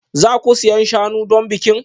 Za ku siyan shanu don bikin?